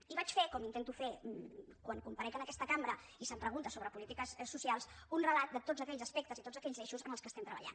i vaig fer com intento fer quan comparec en aquesta cambra i se’m pregunta sobre polítiques socials un relat de tots aquells aspectes i tots aquells eixos en què estem treballant